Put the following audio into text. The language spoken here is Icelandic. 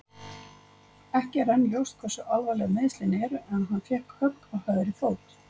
Ekki er enn ljóst hversu alvarleg meiðslin eru en hann fékk högg á hægri fót.